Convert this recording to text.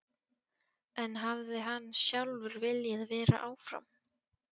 En hefði hann sjálfur viljað vera áfram?